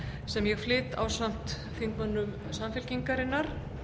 sem ég flyt ásamt þingmönnum samfylkingarinnar